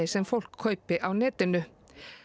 sem fólk kaupir á netinu